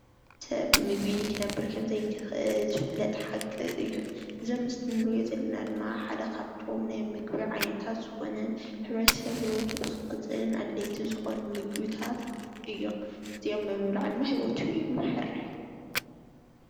ሰብ ብዘይ ምግቢ ክነብር ከምዘይክእል ከምዝ ዝኮነ ዝፍለጥ ሐቂ እዩ፡፡ እዚ ኣብ ምስሊ እንሪኦ ዘለና ድማ ሓደ ካብቶም ናይ ምግቢ ዓይነታት ዝኮነ ሕ/ሰብ ብሂወቱ ንክቅፅል አድለይቲ ዝኮነ ምግብታት እዮም፡፡ እዚኦም ብምብላዕ ድማ ሂወቱ ይመርሕ፡፡